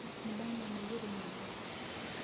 Nĩndamuona igũrũ nyũmba.